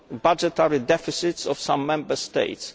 budgetary deficits of some Member States.